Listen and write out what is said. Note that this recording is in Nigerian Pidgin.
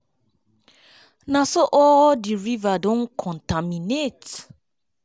na so all so all di rivers don contaminate.